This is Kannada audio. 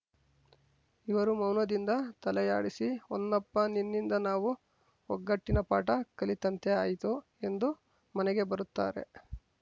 ಇವರು ಮೌನದಿಂದ ತಲೆಯಾಡಿಸಿ ಹೊನ್ನಪ್ಪ ನಿನ್ನಿಂದ ನಾವು ಒಗ್ಗಟ್ಟಿನ ಪಾಠ ಕಲಿತಂತೆ ಆಯಿತು ಎಂದು ಮನೆಗೆ ಬರುತ್ತಾರೆ